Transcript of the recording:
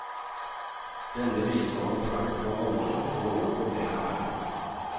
Denne viser han fram for andre for å oppnå mer ære.